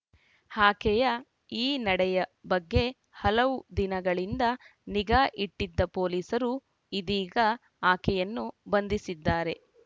ಆಕೆಯ ಈ ನಡೆಯ ಬಗ್ಗೆ ಹಲವು ದಿನಗಳಿಂದ ನಿಗಾ ಇಟ್ಟಿದ್ದ ಪೊಲೀಸರು ಇದೀಗ ಆಕೆಯನ್ನು ಬಂಧಿಸಿದ್ದಾರೆ